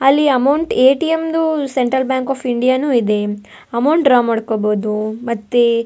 ಅಲ್ಲಿ amount A. T. M ದು central bank of India ನು ಇದೆ ಅಮೌಂಟ್ ಡ್ರಾ ಮಾಡ್ಕೊಬಹುದು ಮತ್ತೆ --